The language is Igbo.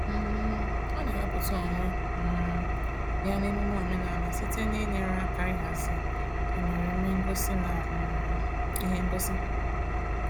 um Ọ na-ewepụta onwe um ya n'emune omenaala site n'inyere aka ịhazi emereme ngosi na um ihe ngosi.